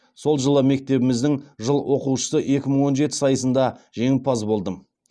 сол жылы мектебіміздің жыл оқушысы екі мың он жеті сайысында жеңімпаз болдым